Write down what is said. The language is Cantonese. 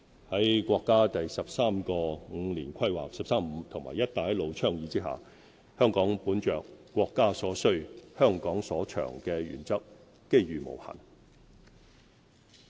在國家第十三個五年規劃和"一帶一路"倡議下，香港本着"國家所需、香港所長"的原則，機遇無限。